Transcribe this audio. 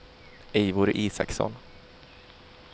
Eivor Isaksson